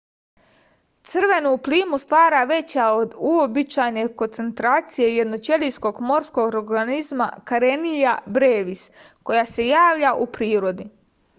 crvenu plimu stvara veća od uobičajene koncentracije jednoćelijskog morskog organizma karenia brevis koji se javlja u prirodi